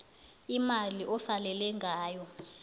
imali osalele ngayo